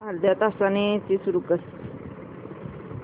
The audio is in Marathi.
अर्ध्या तासाने एसी सुरू कर